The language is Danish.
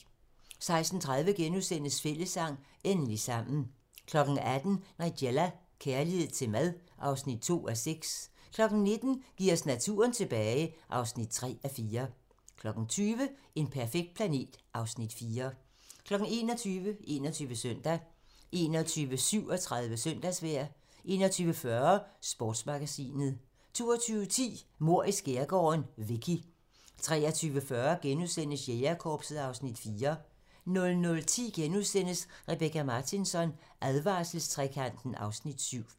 16:30: Fællessang - endelig sammen * 18:00: Nigella - kærlighed til mad (2:6) 19:00: Giv os naturen tilbage (3:4) 20:00: En perfekt planet (Afs. 4) 21:00: 21 Søndag 21:37: Søndagsvejr 21:40: Sportsmagasinet 22:10: Mord i skærgården: Vicky 23:40: Jægerkorpset (Afs. 4)* 00:10: Rebecka Martinsson: Advarselstrekanten (Afs. 7)*